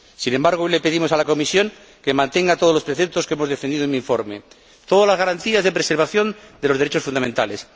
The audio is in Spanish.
Sin embargo, hoy le pedimos a la Comisión que mantenga todos los preceptos que hemos defendido en mi informe, todas las garantías de preservación de los derechos fundamentales.